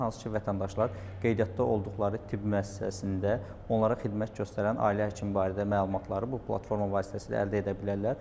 Hansı ki, vətəndaşlar qeydiyyatda olduqları tibb müəssisəsində onlara xidmət göstərən ailə həkimi barədə məlumatları bu platforma vasitəsilə əldə edə bilirlər.